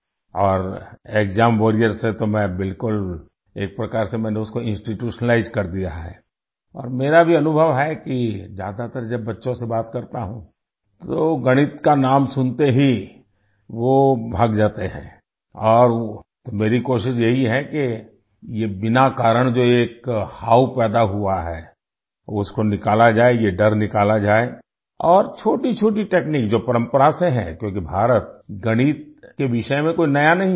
और exam warrior से तो मैं बिल्कुल एक प्रकार से मैंने उसको इंस्टीट्यूशनलाइज्ड कर दिया है और मेरा भी अनुभव है कि ज्यादातर जब बच्चों से बात करता हूँ तो गणित का नाम सुनते ही वो भाग जाते हैं और तो मेरी कोशिश यही है कि ये बिना कारण जो एक हव्वा पैदा हुआ है उसको निकाला जाये ये डर निकाला जाये और छोटीछोटी तकनीक जो परम्परा से है जो कि भारत गणित के विषय में कोई नया नहीं है